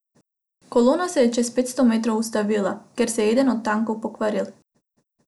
Kolona se je čez petsto metrov ustavila, ker se je eden od tankov pokvaril.